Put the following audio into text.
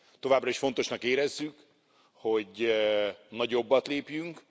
Továbbra is fontosnak érezzük, hogy nagyobbat lépjünk.